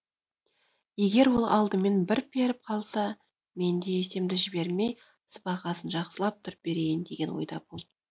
егер ол алдымен бір періп қалса мен де есемді жібермей сыбағасын жақсылап тұрып берейін деген ойда болдым